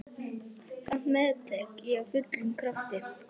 Samt meðtek ég af fullum krafti.